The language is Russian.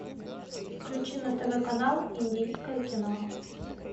включи на тв канал индийское кино